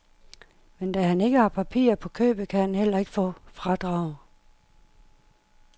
Men da han ikke har papirer på købet, kan han heller ikke få fradrag.